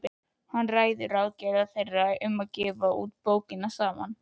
Hann ræðir ráðagerðir þeirra um að gefa út bók saman.